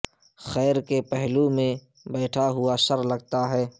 خیر کے پہلو میں بیٹھا ہوا شر لگتا ہے